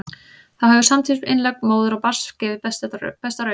þá hefur samtímis innlögn móður og barns gefið besta raun